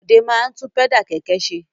Bọ̀dé máa ń tún pẹ́dà kẹ̀kẹ́ ṣe.